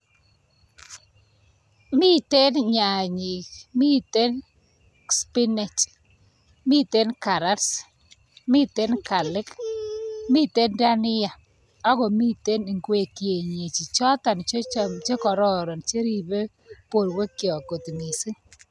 Miten nyanyik, miten spinach, miten karats, mite galik, miten dania akomiten ingwek kieneji chotok chekororon cheripei porwekchok kot mising.